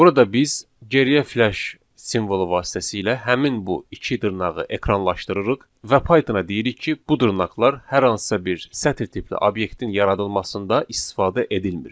Burada biz geriyə flash simvolu vasitəsilə həmin bu iki dırnağı ekranlaşdırırıq və Pythona deyirik ki, bu dırnaqlar hər hansısa bir sətr tipli obyektin yaradılmasında istifadə edilmir.